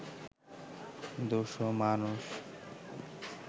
দুশো মানুষ